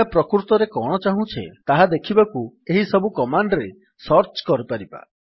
ଆମେ ପ୍ରକୃତରେ କଣ ଚାହୁଁଛେ ତାହା ଦେଖିବାକୁ ଏହିସବୁ କମାଣ୍ଡ୍ ରେ ସର୍ଚ୍ଚ କରିପାରିବା